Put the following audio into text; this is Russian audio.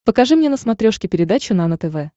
покажи мне на смотрешке передачу нано тв